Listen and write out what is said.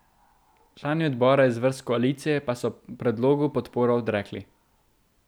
Člani odbora iz vrst koalicije pa so predlogu podporo odrekli.